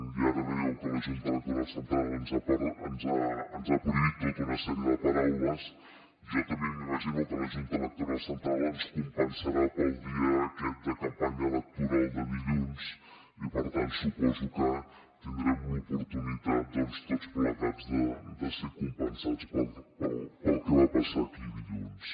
i ara dèieu que la junta electoral central ens ha prohibit tota una sèrie de paraules jo també m’imagino que la junta electoral central ens compensarà pel dia aquest de campanya electoral de dilluns i per tant suposo que tindrem l’oportunitat tots plegats de ser compensats pel que va passar aquí dilluns